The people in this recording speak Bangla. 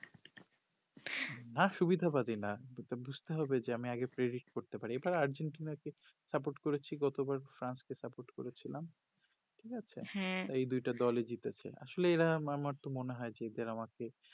সুবিধা বাদী না তো বুজতে হবে যে আমি আগে করতে পারি এটাও একজন কে support করেছি গতবার ফ্রান্স কে support করেছিলাম ঠিক আছে হ্যা তো ওই দুইটো দল ই জিতেছে আসলে এরা আমার তো মনে হয় যে এদের কে